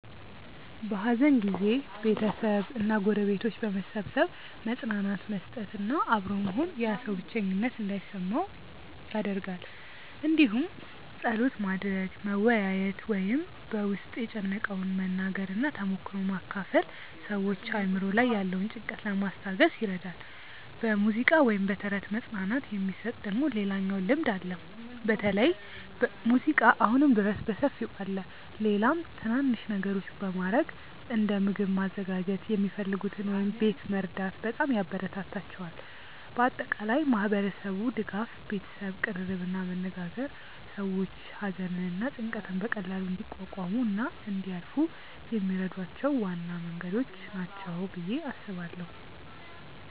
በሐዘን ጊዜ ቤተሰብ እና ጎረቤቶች በመሰብሰብ መጽናናት መስጠት እና አብሮ መሆን ያ ሰው ብቸኝነት እንዳይሰማው ይደረጋል እንዲሁም ጸሎት ማድረግ፣ መወያየት ወይም በ ውስጥን የጨነቀውን መናገር እና ተሞክሮ መካፈል ሰዎችን አእምሮ ላይ ያለውን ጭንቀት ለማስታገስ ይረዳል። በሙዚቃ ወይም በተረት መጽናናት የሚሰጥ ደግሞ ሌላኛው ልምድ አለ በተለይ ሙዚቃ አሁንም ድረስ በሰፊው አለ። ሌላም ትናናንሽ ነገሮች በማረግ እንደ ምግብ ማዘጋጀት የሚፈልጉትን ወይም ቤት መርዳት በጣም ያበራታታቸዋል። በአጠቃላይ ማህበረሰቡ ድጋፍ፣ ቤተሰብ ቅርርብ እና መነጋገር ሰዎች ሐዘንን እና ጭንቀትን በቀላሉ እንዲቋቋሙ እና እንዲያልፏ የሚረዷቸው ዋና መንገዶች ናቸው ብዬ አስባለው።